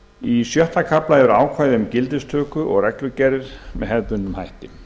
í sjötta kafla eru ákvæði um gildistöku og reglugerð með hefðbundnum hætti